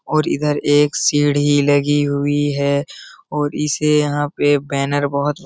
और इधर एक सिढ़ी लगी हुई है और इसे यहाँ पे बैनर बहुत --